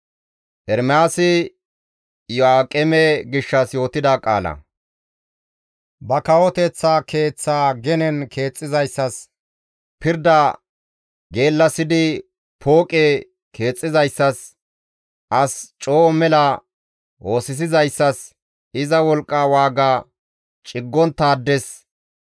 «Ba kawoteththa keeththa genen keexxizayssas, pirda geellasidi pooqe keexxizayssas, as coo mela oosisizayssas, iza wolqqa waaga ciggonttaades,